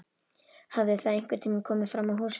Hafði það einhvern tíma komið fram á húsfundi?